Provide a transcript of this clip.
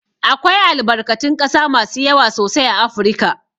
Akwai albarkatun ƙasa masu yawa sosai a Afirika.